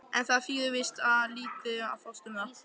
En það þýðir víst lítið að fást um það.